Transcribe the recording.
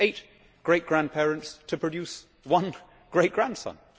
It takes eight great grandparents to produce one great grandson.